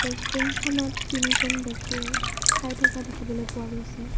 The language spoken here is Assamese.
ৰেষ্টুৰেন্তখনত তিনিজন ব্যক্তিয়ে খাই থকা দেখিবলৈ পোৱা গৈছে।